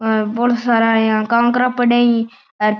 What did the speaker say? हे बोला सारा इया कांकरा पड़ा है अर --